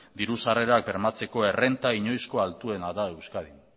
diru sarrerak bermatzeko errenta inoizko altuena da euskadin